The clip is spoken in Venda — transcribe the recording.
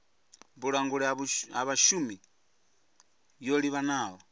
vhulanguli ha vhashumi yo livhanaho